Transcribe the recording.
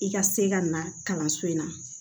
I ka se ka na kalanso in na